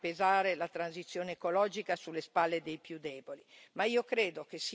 Noi non possiamo far pesare la transizione ecologica sulle spalle dei più deboli.